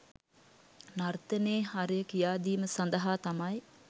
නර්තනයේ හරය කියාදීම සඳහා තමයි